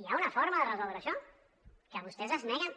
hi ha una forma de resoldre això que vostès s’hi neguen